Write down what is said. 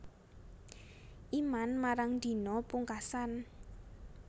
Iman marang dina pungkasan